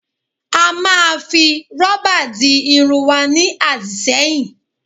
A máa fi rọ́bà di irun wa ní àdìṣẹ́yìn